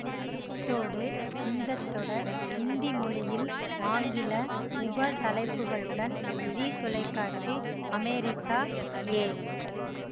அத்தோடு இந்த தொடர் இந்தி மொழியில் ஆங்கில உப தலைப்புகளுடன் ஜீ தொலைக்காட்சி அமெரிக்கா ஏ